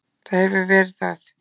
Það hefur verið það.